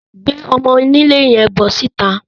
Gbé ọmọ-onílé yẹn bọ́ síta